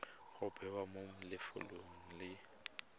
go bewa mo lefelong le